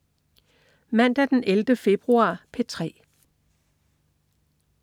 Mandag den 11. februar - P3: